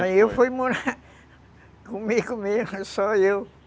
Aí eu fui morar comigo mesmo, só eu.